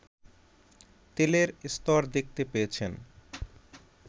তেলের স্তর দেখতে পেয়েছেন